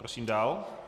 Prosím dál.